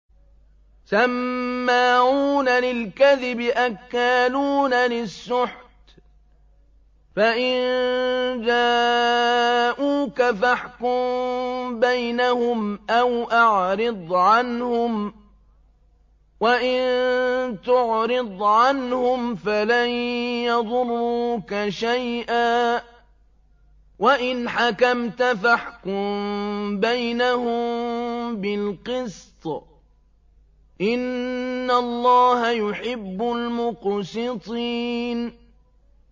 سَمَّاعُونَ لِلْكَذِبِ أَكَّالُونَ لِلسُّحْتِ ۚ فَإِن جَاءُوكَ فَاحْكُم بَيْنَهُمْ أَوْ أَعْرِضْ عَنْهُمْ ۖ وَإِن تُعْرِضْ عَنْهُمْ فَلَن يَضُرُّوكَ شَيْئًا ۖ وَإِنْ حَكَمْتَ فَاحْكُم بَيْنَهُم بِالْقِسْطِ ۚ إِنَّ اللَّهَ يُحِبُّ الْمُقْسِطِينَ